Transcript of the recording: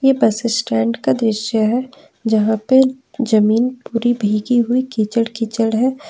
बस स्टैंड का दृश्य है यहां पे जमीन पूरी भीगी हुई कीचड़ कीचड़ है।